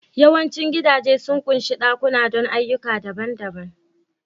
Yawancin gidaje sun ƙunshi ɗakuna don ayyuka daban-daban